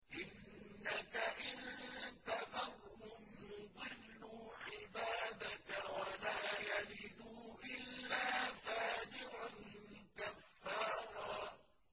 إِنَّكَ إِن تَذَرْهُمْ يُضِلُّوا عِبَادَكَ وَلَا يَلِدُوا إِلَّا فَاجِرًا كَفَّارًا